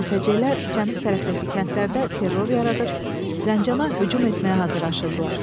Mürtəcelər cənub tərəfdəki kəndlərdə terror yaradır, Zəncana hücum etməyə hazırlaşırdılar.